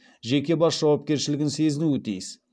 жеке бас жауапкшілігін сезінуі тиіс